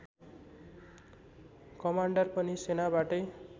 commander पनि सेनाबाटै